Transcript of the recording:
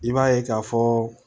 I b'a ye ka fɔ